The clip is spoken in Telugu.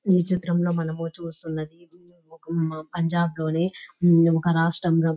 ఈ చిత్రంలో మనము చూస్తున్నది ఒక పంజాబ్ లోని ఒక రాష్ట్రంగా --